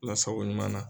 Lasago ɲuman na